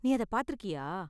நீ அதை பாத்துருக்கியா?